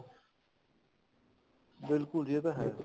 ਬਿਲਕੁਲ ਜੀ ਇਹ ਤਾਂ ਹੈ